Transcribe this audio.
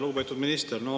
Lugupeetud minister!